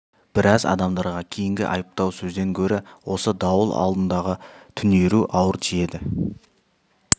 біраз адамдарға кейінгі айыптау сөзден гөрі осы дауыл алдындағы түнеру ауыр тиеді